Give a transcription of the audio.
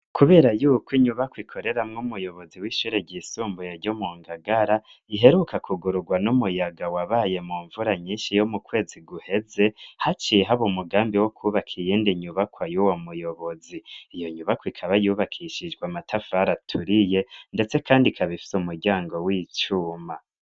Kubera yuko inyubako ikoreramwo umuyobozi w'ishure ryisumbuye ryo mu Ngagara iheruka kugururwa n'umuyaga, wabaye mu mvura nyinshi yo mu kwezi guheze, haciye haba umugambi wo kubaka iyindi nyubakwa y'uwo muyobozi. Iyo nyubako ikaba yubakishijwe amatafari aturiye ndetse kandi ikaba ifise umuryango w'icuma.